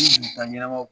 taa ɲɛnamaw